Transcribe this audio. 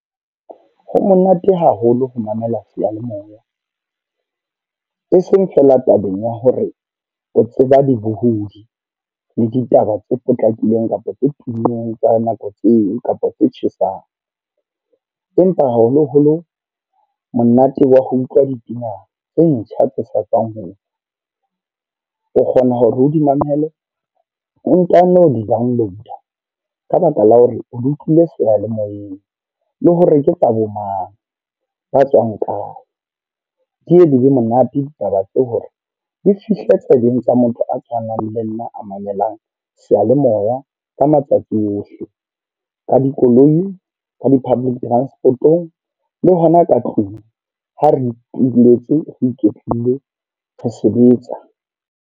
Ho monate haholo ho mamela seyalemoya. E seng feela tabeng ya hore o tseba dibohudi, le ditaba tse potlakileng kapa tse tummeng tsa nako tseo, kapa tse tjhesang. Empa haholo-holo monate wa ho utlwa dipina tse ntjha tse hlatswang ho . O kgona hore o di mamele, o ntano di-dwnload ka baka la hore o le utlwile seyalemoyeng. Le hore ke tsa bo mang, ba tswang kae. le be monate ditaba ke hore di fihle tsebeng tsa motho a tshwanang le nna, a mamelang seyalemoya ka matsatsi ohle. Ka dikoloi, ka di-public transport-o ng, le hona ka tlung. Ha re ituletse re iketlile, re sebetsa.